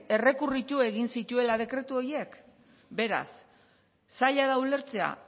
errekurritu egin zituela dekretu horiek beraz zaila da ulertzea